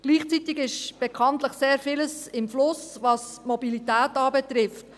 Gleichzeitig befindet sich bekanntlich sehr vieles im Fluss, was Mobilität betrifft.